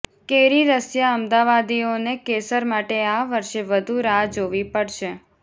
કેરી રસિયા અમાદવાદીઓને કેસર માટે આ વર્ષે વધુ રાહ જોવી પડશે